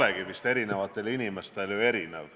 Eks see arusaam olegi eri inimestel erinev.